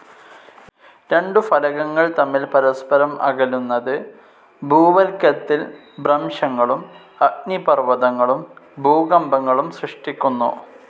രണ്ടു ഫലകങ്ങൾ തമ്മിൽ പരസ്പരം അകലുന്നത്, ഭൂവൽക്കത്തിൽ ഭ്രംശങ്ങളും, അഗ്നിപർവതങ്ങളും, ഭൂകമ്പങ്ങളും സൃഷ്ടിക്കുന്നു.